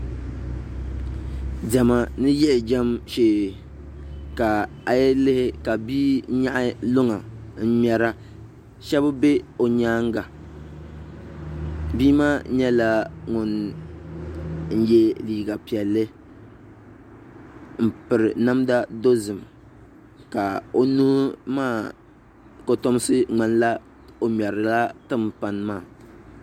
Diɛma ni yiɣi jɛm shee a yi lihi ka bia nyaɣa luŋa n ŋmɛra shab bɛ o nyaanga bia maa nyɛla ŋun yɛ liiga piɛlli n piri namda dozik ka o nuu maa kitomsi ŋmanila o ŋmɛrila timpani maa